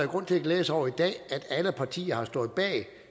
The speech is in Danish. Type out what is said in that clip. grund til at glæde sig over i dag at alle partier har stået bag